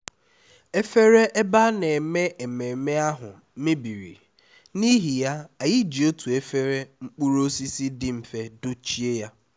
ezinụlọ ahụ gbakọtara n’isi ụtụtụ n’ihi ya anyị na-ewepụta nri ndị ahụ tupu ha erie nri